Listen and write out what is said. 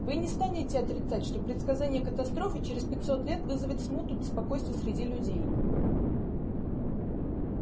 вы не станете отрицать что предсказание катастрофы через пятьсот лет вызовет смуту беспокойство среди людей